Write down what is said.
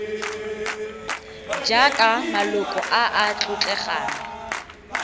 jaaka maloko a a tlotlegang